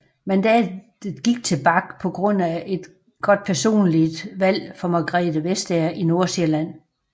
Mandatet gik til Bach på grund af et godt personligt valg for Margrethe Vestager i Nordsjælland